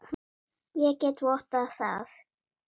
Ég get vottað það.